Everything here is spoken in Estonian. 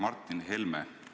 Aitäh!